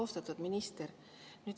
Austatud minister!